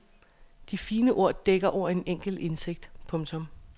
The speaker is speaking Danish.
De fine ord dækker over en enkel indsigt. punktum